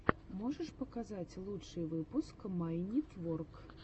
можешь показать лучший выпуск майнитворк